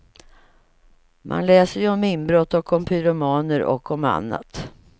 Man läser ju om inbrott och om pyromaner och om annat.